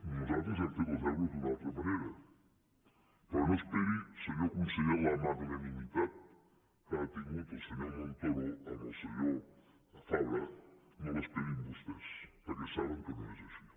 nosaltres hem fet els deures d’una altra manera però no esperi senyor conseller la magnanimitat que ha tingut el senyor montoro amb el senyor fabra no l’esperin vostès perquè saben que no és així